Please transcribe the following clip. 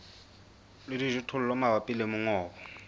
le dijothollo mabapi le mongobo